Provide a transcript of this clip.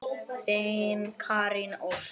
Þín Karen Ósk.